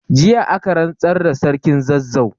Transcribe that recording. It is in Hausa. Jiya aka rantsar da Sarkin Zazzau.